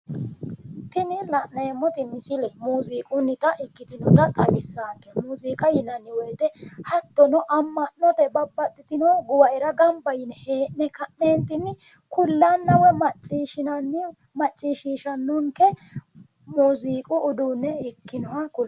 Tini la'neemmoti misile muuziiqunnita ikkitina xawissaanke. muuziiqa yinayi wote hattono amma'note babbaxxitino guwaera hee'ne ka'neenti kullanna woyi macciishinanni macciishishannonke muuziiqu uduunne ikkinoha kulanno.